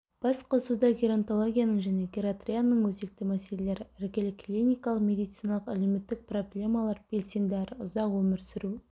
басқосуда геронтологияның және гератрияның өзекті мәселелері іргелі клиникалық медициналық әлеуметтік проблемалар белсенді әрі ұзақ өмір сүру